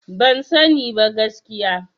Ban sani ba gaskiya.